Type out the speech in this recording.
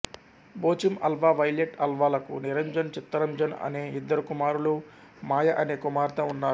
Joachim Alva Violet Alva లకు నిరంజన్ చిత్తరంజన్ అనే ఇద్దరు కుమారులు మాయ అనే కుమార్తె ఉన్నారు